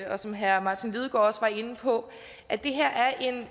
og som herre martin lidegaard også var inde på at det her er en